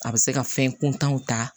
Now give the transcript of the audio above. A bɛ se ka fɛn kuntanw ta